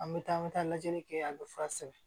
An bɛ taa an bɛ taa lajɛli kɛ yan bɛ fura sɛbɛn